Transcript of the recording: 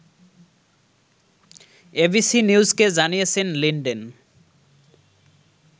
ABC নিউজকে জানিয়েছেন Linden